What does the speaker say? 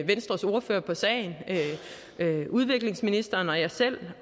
venstres ordfører på sagen og udviklingsministeren og jeg selv